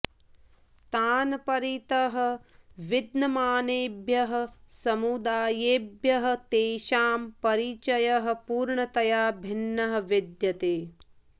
तान् परितः विद्यमानेभ्यः समुदायेभ्यः तेषां परिचयः पूर्णतया भिन्नः विद्यते